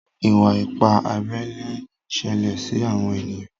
iwa-ipa abé ilé nṣele sí àwọn ènìyàn.